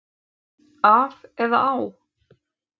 Af eða á?